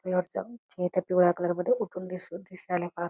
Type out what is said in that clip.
हे त्या पिवळ्या कलर मध्ये उठून दिसू दिसायला फा--